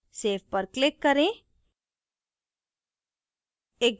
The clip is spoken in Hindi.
save पर click करें